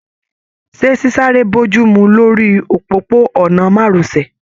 Ṣe sisare bojumu lórí òpópó-ònà márosẹ̀.